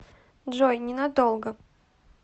джой ненадолго